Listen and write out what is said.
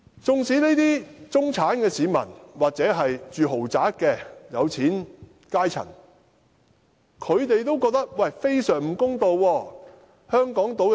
這些中產市民或住豪宅的有錢階層亦覺得非常不公道。